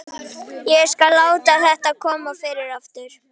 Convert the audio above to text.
Ég skal aldrei láta þetta koma fyrir aftur.